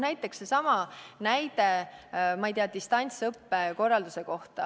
Seesama näide, distantsõppe korraldus.